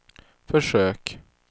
försök